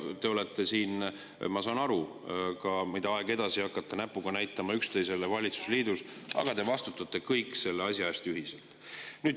Ma saan aru, mida aeg edasi, seda enam te hakkate näpuga näitama üksteisele valitsusliidus, aga te vastutate kõik selle asja eest ühiselt.